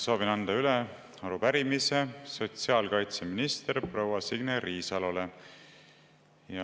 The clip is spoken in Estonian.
Soovin anda üle arupärimise sotsiaalkaitseminister proua Signe Riisalole.